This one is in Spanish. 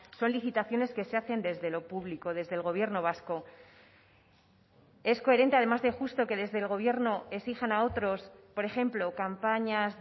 son licitaciones que se hacen desde lo público desde el gobierno vasco es coherente además de justo que desde el gobierno exijan a otros por ejemplo campañas